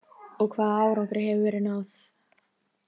Og hvaða árangri hefur verið náð?